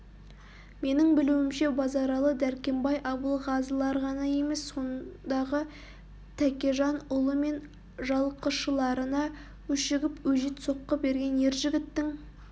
менің білуімше базаралы дәркембай абылғазылар ғана емес сондағы тәкежан ұлы мен жалқышыларына өшігіп өжет соққы берген ер жігіттің